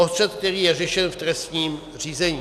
O střet, který je řešen v trestním řízení.